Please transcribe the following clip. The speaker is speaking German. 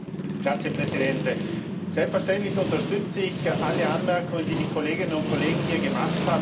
Herr Präsident! Selbstverständlich unterstütze ich alle Anmerkungen, die die Kolleginnen und Kollegen hier gemacht haben.